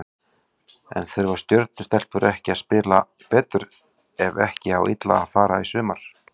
En þurfa Stjörnu stelpur ekki að spila betur ef ekki á illa fara í sumar?